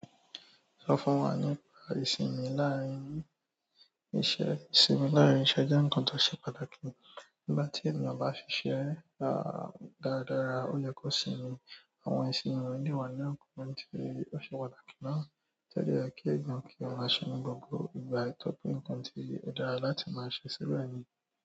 Sọ fún wa nípa ìsinmi láàárín iṣẹ́. Ìsinmi láàrin iṣẹ́ jẹ́ ǹkan tó ṣe pàtàkì. Nígbà tí ènìyàn bá ṣiṣẹ́ dáradára, ó yẹ kó sinmi. Àwọn ìsinmi òde òní ni ǹkan tí ó ṣe pàtàkì ná. To dẹ̀ yẹ kí èèyàn kí wọ́n máa se ni gbogbo ìgbà yí, torí pé ǹkan tí ó dára láti máa ṣe sílẹ̀ ní.